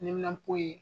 Neminanpo ye